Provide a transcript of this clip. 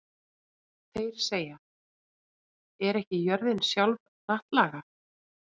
Þeir segja: Er ekki jörðin sjálf hnattlaga?